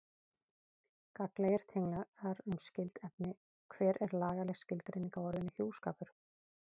Gagnlegir tenglar um skyld efni Hver er lagaleg skilgreining á orðinu hjúskapur?